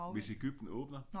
Hvis Egypten åbner?